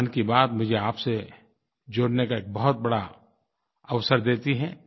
मन की बात मुझे आपसे जुड़ने का एक बहुत बड़ा अवसर देती है